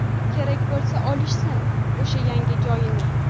Kerak bo‘lsa, olishsin o‘sha yangi joyini.